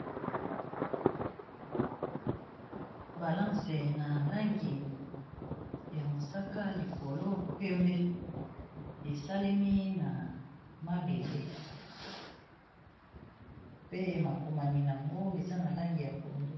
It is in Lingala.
Balance na langi ya mosaka, likolo pembe. Esalemi na mabende, pe makomami nango eza na langi ya pondu.